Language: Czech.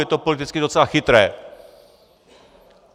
Je to politicky docela chytré.